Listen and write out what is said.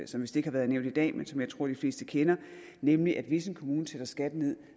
som vist ikke har været nævnt i dag men som jeg tror de fleste kender nemlig at hvis en kommune sætter skatten ned